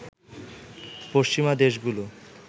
পশ্চিমা দেশগুলো